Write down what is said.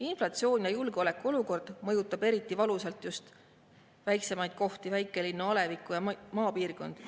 Inflatsioon ja julgeolekuolukord mõjutavad eriti valusalt just väiksemaid kohti: väikelinnu, alevikke ja maapiirkondi.